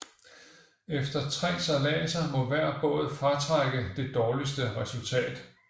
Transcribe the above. Efter tre sejladser må hver båd fratrække det dårligste resultat